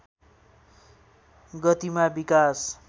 गतिमा विकास